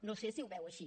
no sé si ho veu així